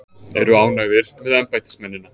Eru ánægðir með embættismennina